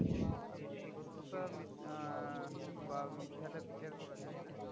সত্যতা আহ বা মিথ্যা টা বিচার করা যায় না?